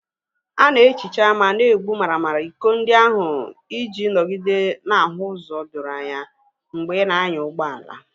A na-ehicha ma na-egbu maramara iko ndị ahụ iji nọgide na-ahụ ụzọ doro anya mgbe ị na-anya ụgbọ ala.